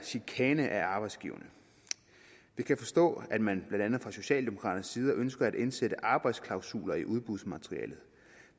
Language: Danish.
chikane af arbejdsgiverne jeg kan forstå at man blandt andet fra socialdemokraternes side ønsker at indsætte arbejdsklausuler i udbudsmaterialet